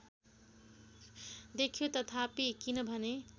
देख्यो तथापि किनभने